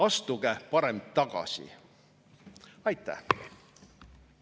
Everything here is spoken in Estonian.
Astuge parem tagasi!